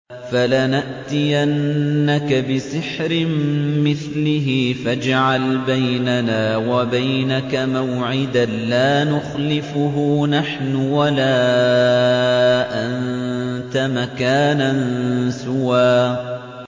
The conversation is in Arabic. فَلَنَأْتِيَنَّكَ بِسِحْرٍ مِّثْلِهِ فَاجْعَلْ بَيْنَنَا وَبَيْنَكَ مَوْعِدًا لَّا نُخْلِفُهُ نَحْنُ وَلَا أَنتَ مَكَانًا سُوًى